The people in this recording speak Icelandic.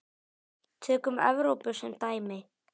Tökum Evrópu sem dæmi.